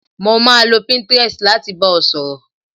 Mo máa lo pinterest láti bá ọ sọ̀rọ̀